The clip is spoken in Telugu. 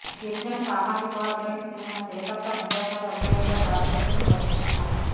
గిరిజన సామాజిక వర్గానికి చెందిన సీతక్క రెండోసారి ఎమ్మెల్యేగా ప్రాతినిధ్యం వహిస్తున్నారు